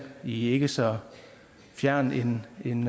i ikke så fjern en